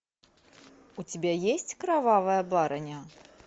у тебя есть кровавая барыня